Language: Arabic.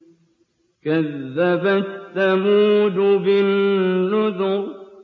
كَذَّبَتْ ثَمُودُ بِالنُّذُرِ